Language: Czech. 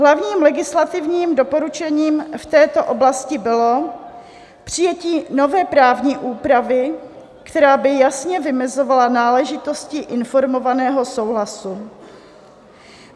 Hlavním legislativním doporučením v této oblasti bylo přijetí nové právní úpravy, která by jasně vymezovala náležitosti informovaného souhlasu.